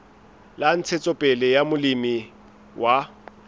la ntshetsopele ya molemi wa